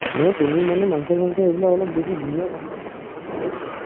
নহয়, তুমি মানে মাংস-চাংস এইবিলাক অলপ বেছি ধুনীয়া বনোৱা ন সেইটো কাৰণে কৈছো আৰু